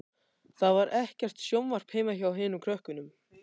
Það var ekkert sjónvarp heima hjá hinum krökkunum.